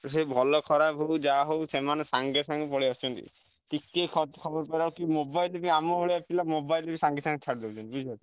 ସିଏ ଭଲ ଖରାପ ଯାହା ହଉ ସିଏ ମାନେ ସଙ୍ଗେ ସଙ୍ଗେ ପଳେଈ ଆସୁଛନ୍ତି ଟିକେ ଖବର ପାଇଲେ mobile ଧରି ଆମ ଭଳିଆ ପିଲା mobile ରେ ସଙ୍ଗେ ସଙ୍ଗେ ଛାଡିଦଉଛନ୍ତି